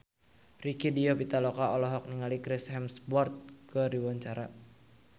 Rieke Diah Pitaloka olohok ningali Chris Hemsworth keur diwawancara